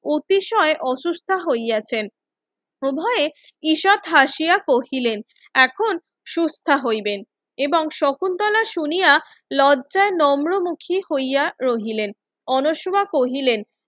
অতিশয় অসুস্থা হইয়াছেন উভয়ে ঈষৎ হাসিয়া কহিলেন এখন সুস্থা হইবেন এবং শকুন্তলা শুনিয়া লজ্জায় নর্ম মুখী হইয়া রহিলেন অনশোয়া কহিলেন